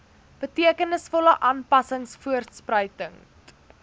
betekenisvolle aanpassings voorspruitend